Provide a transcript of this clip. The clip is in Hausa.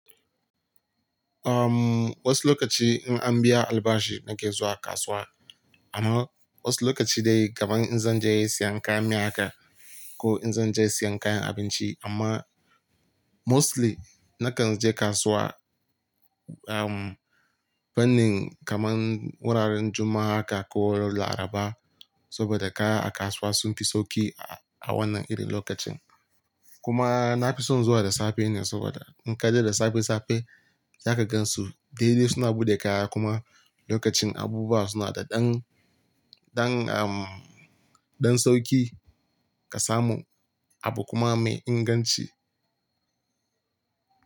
Umm wasu lokaci in an biya albashi nake zuwa kasuwa amma wasu lokaci dai kamar in zan je siyan kayan miya haka ko in zan je siyan kayan abinci amma mostly na kan je kasuwa um fannin kaman wuraren Juma'a ka ko Laraba saboda kaya a kasuwa sun fi sauki a wannan iri lokacin. Kuma na fi son zuwa da safe ne saboda in ka je da safe safe zaka gan su daidai suna buɗe kaya kuma lokacin abubuwa suna da ɗan, ɗan um, ɗan sauki ka samu abu kuma mai inganci.